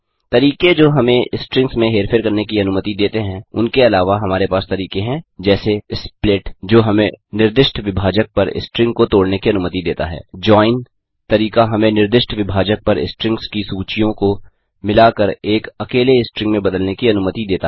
तरीके जो हमें स्ट्रिंग्स में हेरफेर करने की अनुमति देते हैं उनके अलावा हमारे पास तरीके हैं जैसे स्प्लिट जो हमें निर्दिष्ट विभाजक पर स्ट्रिंग को तोड़ने की अनुमति देता है जोइन तरीका हमें निर्दिष्ट विभाजक पर स्ट्रिंग्स की सूचियों को मिलाकर एक अकेले स्ट्रिंग में बदलने की अनुमति देता है